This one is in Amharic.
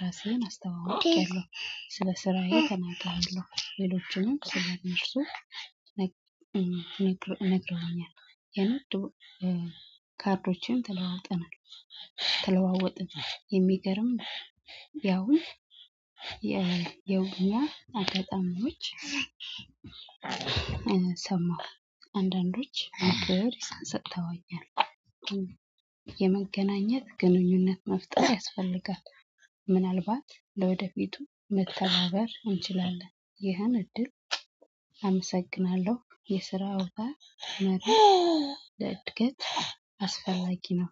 ራስህን አስተዋውቄያለሁ ስለ ስራዬ ተመጥሃለሁ ሌሎችንም ስለ ነፍሱ። ነግረውኛል የነገሩ ካርዶችን ተለዋወጠናል። ተለዋወጠ የሚገርም ያውን። የውኛ አጋጣሚዎች ውጭ ሰማሁ አንዳንዶች እንግዲህ ሰጥተዋኛል። የመገናኘት ግንኙነት መፍጠር ያስፈልጋል። ምናልባት ለወደፊቱ መተናበር እንችላለን። ይህን እድል አመሰግናለሁ የስራ አውታ ታሪክ ለእድገት አስፈላጊ ነው።